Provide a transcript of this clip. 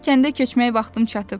Kəndə köçmək vaxtım çatıb.